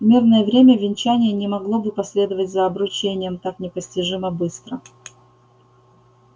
в мирное время венчание не могло бы последовать за обручением так непостижимо быстро